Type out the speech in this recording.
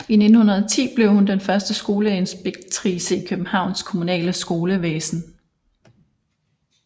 I 1910 blev hun den første skolekøkkeninspektrice i Københavns kommunale skolevæsen